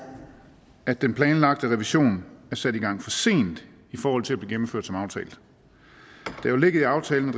at den planlagte revision er sat i gang for sent i forhold til blive gennemført som aftalt det ligger i aftalen